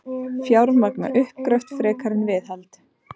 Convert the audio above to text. Fjármagna uppgröft frekar en viðhald